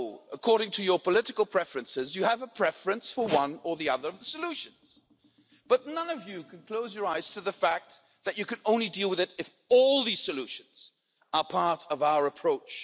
According to your political preferences, you have a preference for one or other of the solutions, but none of you can close your eyes to the fact that you can only deal with it if all these solutions are part of our approach.